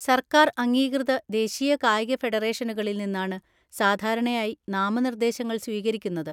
സർക്കാർ അംഗീകൃത ദേശീയ കായിക ഫെഡറേഷനുകളിൽ നിന്നാണ് സാധാരണയായി നാമനിർദ്ദേശങ്ങൾ സ്വീകരിക്കുന്നത്.